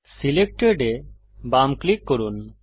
selected এ বাম click করুন